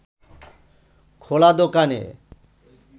খোলা দোকানে